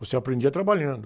Você aprendia trabalhando.